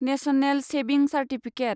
national savings certificate